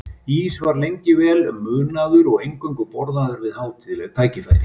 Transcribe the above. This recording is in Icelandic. Ís var lengi vel munaður og eingöngu borðaður við hátíðleg tækifæri.